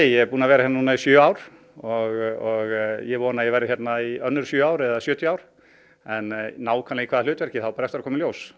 er búinn að vera hérna í sjö ár og ég vona að ég verði hérna í önnur sjö ár eða sjötíu ár en nákvæmlega í hvaða hlutverki á eftir að koma í ljós og